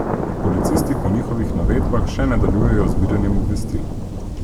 Policisti po njihovih navedbah še nadaljujejo z zbiranjem obvestil.